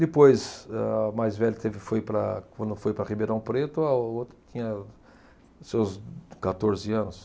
Depois, âh, a mais velha, foi para, quando foi para Ribeirão Preto, a outra tinha seus quatorze anos